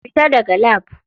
Fita daga lab.